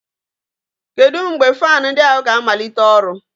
Kedu mgbe fan ndi ahu ga-amalite ọrụ?